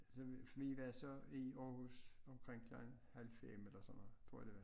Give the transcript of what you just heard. Så vi var så i Aarhus omkring klokken halv 5 eller sådan noget tror jeg det var